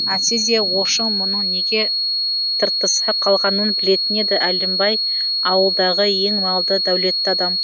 әйтсе де ошың мұның неге тыртыса қалғанын білетін еді әлімбай ауылдағы ең малды дәулетті адам